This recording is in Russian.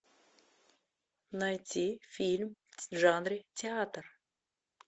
найти фильм в жанре театр